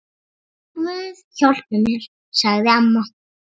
Guð hjálpi mér, sagði amma.